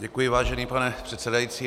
Děkuji, vážený pane předsedající.